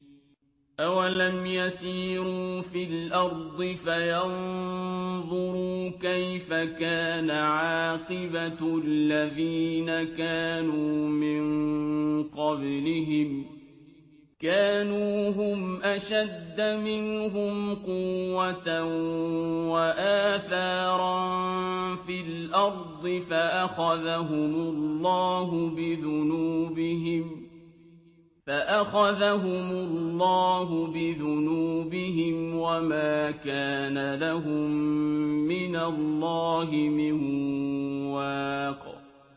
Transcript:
۞ أَوَلَمْ يَسِيرُوا فِي الْأَرْضِ فَيَنظُرُوا كَيْفَ كَانَ عَاقِبَةُ الَّذِينَ كَانُوا مِن قَبْلِهِمْ ۚ كَانُوا هُمْ أَشَدَّ مِنْهُمْ قُوَّةً وَآثَارًا فِي الْأَرْضِ فَأَخَذَهُمُ اللَّهُ بِذُنُوبِهِمْ وَمَا كَانَ لَهُم مِّنَ اللَّهِ مِن وَاقٍ